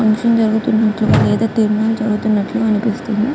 Function జేరుగుతంటూ గ ఎదో ఈవెంట్ జేరుగుతునాటు గ కనిపిస్తుంది.